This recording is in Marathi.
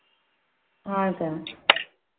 . हा का?